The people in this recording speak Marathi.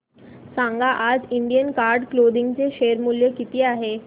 सांगा आज इंडियन कार्ड क्लोदिंग चे शेअर मूल्य किती आहे